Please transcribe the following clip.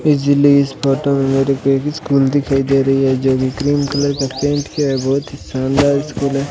बिजली इस फोटो मेरे को एक स्कूल दिखाई दे रही है जो की क्रीम कलर का पेंट किया है बहोत ही शानदार स्कूल है।